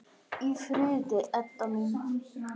Hvíldu í friði, Edda mín.